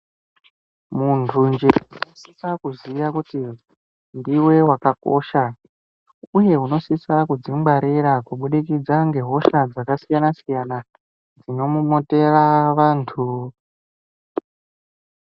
Muntu njee unosisa kuziya kuti ndiwe wakakosha uye unosisa kudzingwarira kubudikidza ngehosha dzakasiyana-siyana dzinomomotera vantu.